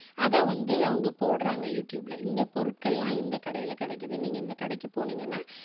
அதை வந்து அவங்க போடுறாங்க யூ டியூப்ல. இந்த பொருட்கள் எல்லாம் இந்த கடையில கிடைக்குது. நீங்க இந்த கடைக்கு போனீங்கன்னா